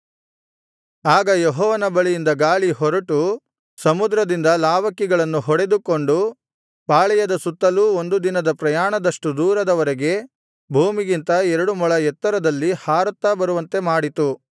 ಆಗ ಯೆಹೋವನ ಬಳಿಯಿಂದ ಗಾಳಿ ಹೊರಟು ಸಮುದ್ರದಿಂದ ಲಾವಕ್ಕಿಗಳನ್ನು ಹೊಡೆದುಕೊಂಡು ಪಾಳೆಯದ ಸುತ್ತಲೂ ಒಂದು ದಿನದ ಪ್ರಯಾಣದಷ್ಟು ದೂರದವರೆಗೆ ಭೂಮಿಗಿಂತ ಎರಡು ಮೊಳ ಎತ್ತರದಲ್ಲಿ ಹಾರುತ್ತಾ ಬರುವಂತೆಮಾಡಿತು